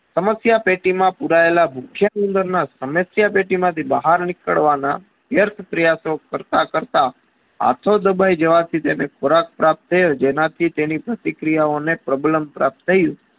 સમસ્યા પેટીમાસ પુરાયેલા ભૂખ્યા ઉંદરના સમસ્યા પેટીમાંથી બહાર નીકળવાના વ્યર્થ પ્રયાસો કરતા~કરતા હાથો દબાઈ જવાથી તેને ખોરાક પ્રાપ્ત થયો જેના થી તેની પ્રતિ ક્રિયાઓ ને problem પ્રપ્ત થયુ